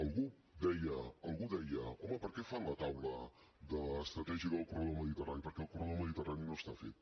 algú deia home per què fan la taula estratègica del corredor mediterrani perquè el corredor mediterrani no està fet